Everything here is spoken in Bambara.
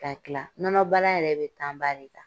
Ka kila nɔnɔ baara yɛrɛ bɛ ba de ta.